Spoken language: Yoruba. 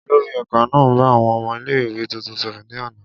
Olori ẹka naa n ba awọn ọmọ ile-iwe tuntun sọrọ ni ana.